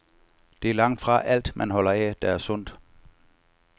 Det er langtfra alt, man holder af, der er sundt.